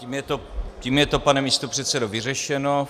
Tím je to, pane místopředsedo, vyřešeno.